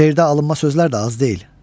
Şeirdə alınma sözlər də az deyil.